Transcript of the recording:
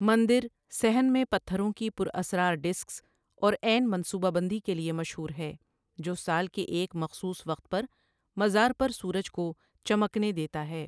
مندر صحن میں پتھروں کی پراسرار ڈسکس اور عین منصوبہ بندی کے لیے مشہور ہے جو سال کے ایک مخصوص وقت پر مزار پر سورج کو چمکنے دیتا ہے۔